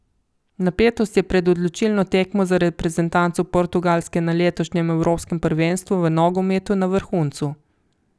Napetost je pred odločilno tekmo za reprezentanco Portugalske na letošnjem evropskem prvenstvu v nogometu na vrhuncu.